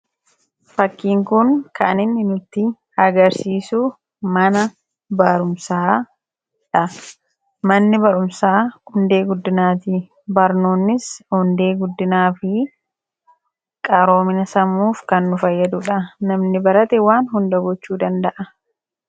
Fakkiin kun kan inni nutti agarsiisu mana barumsaadha. Manni barumsaa hundee guddinaati. Barnoonnis hundee guddinaafi qaroomina sammuuf kan nu fayyadudha. Namni barate waan hunda gochuu danda'a.